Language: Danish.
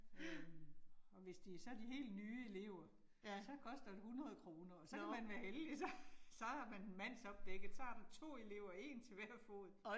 Øh og hvis det så de helt nye elever, så koster det 100 kroner, og så kan man være heldig så så er man mandsopdækket, så har du 2 elever, 1 til hver fod